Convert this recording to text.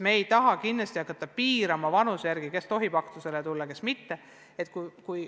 Me kindlasti ei taha hakata vanuse järgi piirama, kes tohib aktusele tulla, kes mitte.